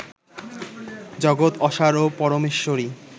জগৎ অসার ও পরমেশ্বরই